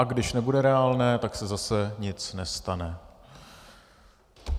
A když nebude reálné, tak se zase nic nestane.